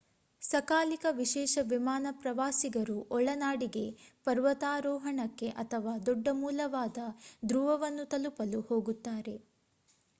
ಸಕಾಲಿಕ ವಿಶೇಷ ವಿಮಾನ ಪ್ರವಾಸಿಗರು ಒಳನಾಡಿಗೆ ಪರ್ವತಾರೋಹಣಕ್ಕೆ ಅಥವಾ ದೊಡ್ಡ ಮೂಲವಾದ ಧ್ರುವವನ್ನು ತಲುಪಲು ಹೋಗುತ್ತಾರೆ